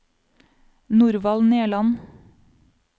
Norvald Nerland